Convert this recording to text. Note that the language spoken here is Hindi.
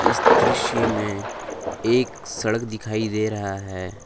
इस दृश्य में एक सड़क दिखाई दे रहा है।